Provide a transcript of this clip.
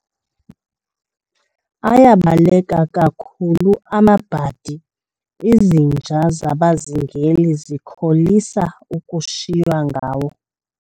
Ayabaleka kakhulu amabhadi, izinja zabazingeli zikholisa ukushiywa ngawo.